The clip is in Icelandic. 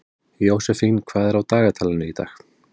Jósefín, hvað er á dagatalinu í dag?